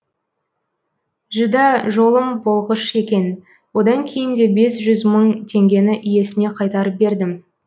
жүдә жолым болғыш екен одан кейін де бес жүз мың теңгені иесіне қайтарып бердім